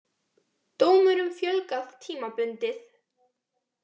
Dómurum fjölgað tímabundið